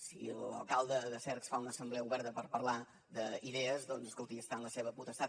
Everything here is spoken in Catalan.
si l’alcalde de cercs fa una assemblea oberta per parlar d’idees doncs escolti està en la seva potestat